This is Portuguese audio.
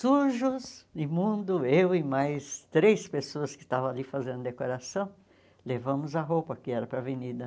Sujos, imundo, eu e mais três pessoas que estavam ali fazendo decoração, levamos a roupa que era para a avenida.